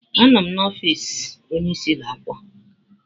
Anọ m n'ọfịsi onyeisi ụlọ akwụkwọ.